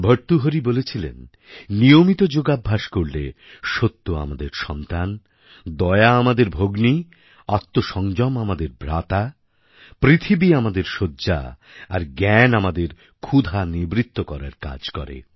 ভর্তুহরি বলেছিলেন নিয়মিত যোগাভ্যাস করলে সত্য আমাদের সন্তান দয়া আমাদের ভগ্নী আত্মসংযম আমাদের ভ্রাতা পৃথিবী আমাদের শয্যা আর জ্ঞান আমাদের ক্ষুধা নিবৃত্ত করার কাজ করে